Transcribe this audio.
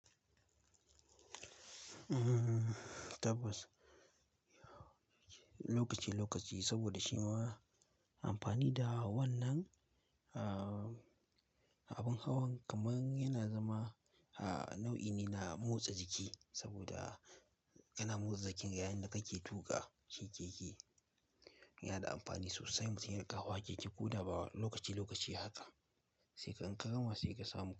Mm, tabbas lokaci lokaci saboda shima amfani da wannan nan, ah abin hawan kaman yana zama ah nau'i ne na motsa jiki saboda kana motsa jiki yayinda kake tuƙa keke. Yana da amfani sosai mutum yakan hawa keke koda bawani lokaci lokaci haka, sai kan kama sai ka samu.